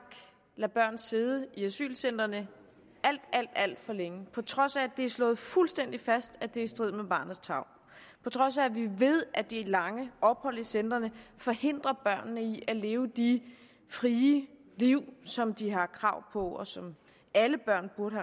lader børn sidde i asylcentrene alt alt for længe på trods af at det er slået fuldstændig fast at det er i strid med barnets tarv på trods af at vi ved at de lange ophold i centrene forhindrer børnene i at leve de frie liv som de har krav på og som alle børn burde